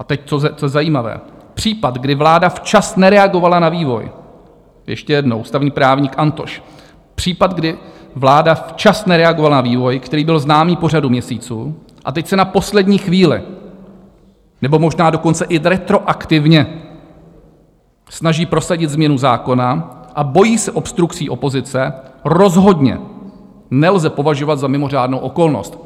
A teď to zajímavé: Případ, kdy vláda včas nereagovala na vývoj - ještě jednou, ústavní právník Antoš - případ, kdy vláda včas nereagovala na vývoj, který byl známý po řadu měsíců, a teď se na poslední chvíli, nebo možná dokonce i retroaktivně snaží prosadit změnu zákona a bojí se obstrukcí opozice, rozhodně nelze považovat za mimořádnou okolnost.